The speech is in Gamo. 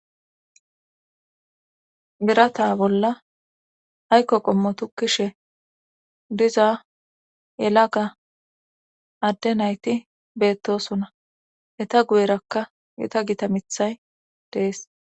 Birata bolla haykko qommo tukkishe diza yelaga adde nayti beettosona eta guyerakka gita gita mithay dees